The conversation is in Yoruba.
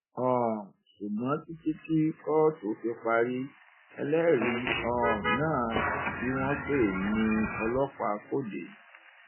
um ṣùgbọn títí tí kóòtù fi parí ẹlẹrìí um náà tí wọn pè ní ọlọpàá kò dé